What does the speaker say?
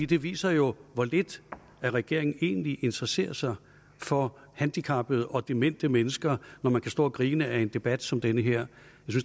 det viser jo hvor lidt regeringen egentlig interesserer sig for handicappede og demente mennesker når man kan stå og grine ad en debat som den her